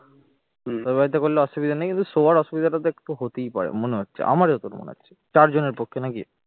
তোর বাড়িতে করলে অসুবিধা নেই কিন্তু শোবার অসুবিধাটা তো একটু হতেই পারে মনে হচ্ছে আমার যতদূর মনে হচ্ছে চারজনের পক্ষে নাকি?